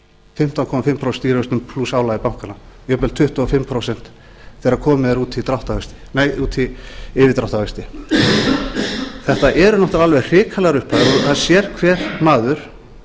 fimmtán og hálft prósent stýrivöxtum plús álagi bankanna jafnvel tuttugu og fimm prósent þegar komið er út í yfirdráttarvexti þetta eru alveg hrikalegar upphæðir og það sér hver maður